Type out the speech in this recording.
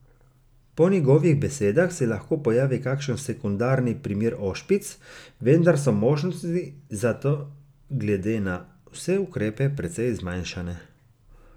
Po njegovih besedah se lahko pojavi kakšen sekundarni primer ošpic, vendar so možnosti za to glede na vse ukrepe precej zmanjšane.